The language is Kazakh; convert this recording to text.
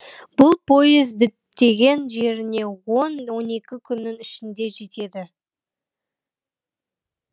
бұл пойыз діттеген жеріне он он екі күннің ішінде жетеді